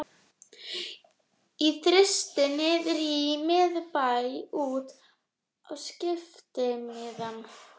Inn í Þristinn niðri í miðbæ út á skiptimiðann.